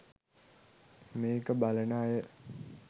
මේක බලන අය